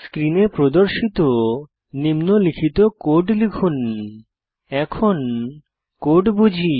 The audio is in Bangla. স্ক্রিনে প্রদর্শিত নিম্নলিখিত কোড লিখুন এখন কোড বুঝি